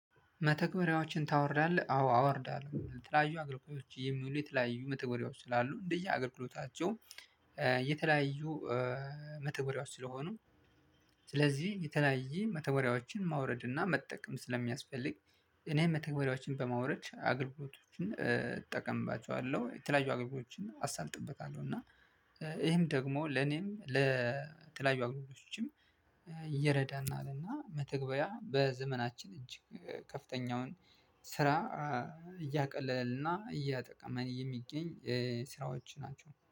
መተግበሪያዎችን ታወርዳለህ አዎ አወርዳለሁ የተለያዩ አገልግሎቶች የሚውሉ የተለያዩ መተግበሪያዎች ስላሉ እንደየ አገልግሎታቸው የተለያዩ መተግበሪያዎች ስለሆኑ ስለዚህ የተለያየ መተግበሪያዎችን ማውረድ እና መጠቀም ስለሚያስፈልግ። እኔ መተግበሪያዎችን በማውረድ አገልግሎቶችን እጠቀምባቸዋለሁ የተለያዩ አገልግሎቶችን አሳልጥበታለሁ። እና ይህም ደግሞ ለኔም ለተለያዩ አገልግሎቶችም እየረዳናል እና መተግበያ በዘመናችን እጅግ ከፍተኛውን ስራ እያቀለለና እየጠቀመን የሚገኝ ስራዎች ናቸው